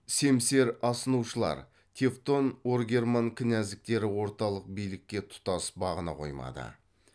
семсер асынушылар тевтон оргерман князьдіктері орталық билікке тұтас бағына қоймады